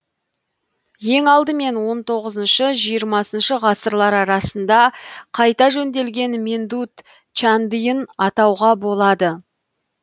ең алдымен он тоғызыншы жиырмасыншы ғасырлар арасында қайта жөнделген мендут чандиын атауға болады